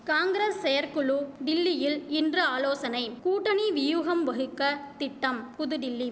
காங்கிரஸ் செயற்குழு டில்லியில் இன்று ஆலோசனை கூட்டணி வியூகம் வகுக்க திட்டம் புதுடில்லி